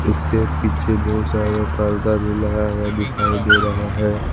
उसके पीछे बहुत सारे पर्दा भी लगा हुआ दिखाई दे रहा है।